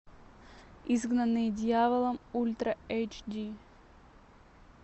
изгнанные дьяволом ультра эйч ди